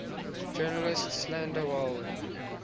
journalists slander welles